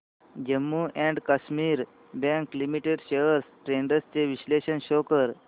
Jammu and Kashmir bank limited shares trends चे विश्लेषण show कर